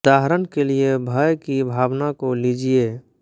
उदाहरण के लिए भय की भावना को लीजिए